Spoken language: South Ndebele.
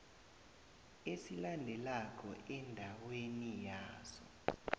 esilandelako endaweni yaso